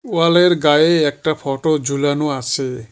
ওয়ালের গায়ে একটা ফটো ঝোলানো আছে।